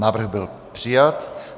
Návrh byl přijat.